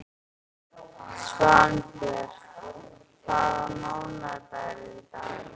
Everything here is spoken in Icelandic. Svanbjört, hvaða mánaðardagur er í dag?